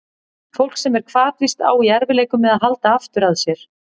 Fólk sem er hvatvíst á í erfiðleikum með að halda aftur af sér.